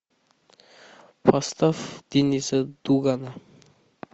поставь денниса дугана